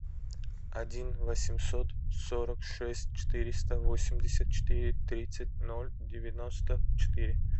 один восемьсот сорок шесть четыреста восемьдесят четыре тридцать ноль девяносто четыре